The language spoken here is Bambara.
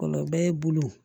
Kɔlɔbɛ bolo